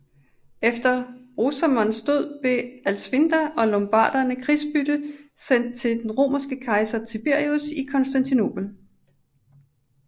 Efter Rosamonds død blev Alsvinda og lombarderne krigsbytte sendt til den romerske kejser Tiberius i Konstantinopel